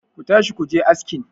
ku tashi ku je askin!